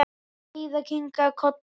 Heiða kinkaði kolli.